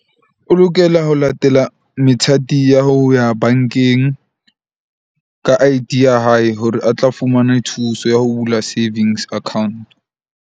O lokela ho latela methati ya ho ya bank-eng ka I_D ya hae, hore a tla fumane thuso ya ho bula savings account.